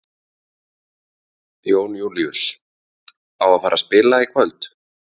Jón Júlíus: Á að fara að spila í kvöld?